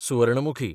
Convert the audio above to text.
Suvarnamukhi